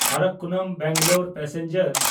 ᱟᱨᱨᱟᱠᱳᱱᱚᱢ–ᱵᱮᱝᱜᱟᱞᱳᱨ passenger